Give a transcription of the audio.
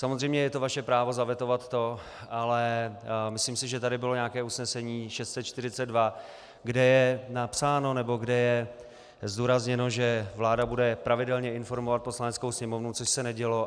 Samozřejmě je to vaše právo zavetovat to, ale myslím si, že tady bylo nějaké usnesení 642, kde je napsáno, nebo kde je zdůrazněno, že vláda bude pravidelně informovat Poslaneckou sněmovnu, což se nedělo.